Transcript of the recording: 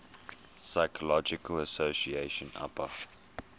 psychological association apa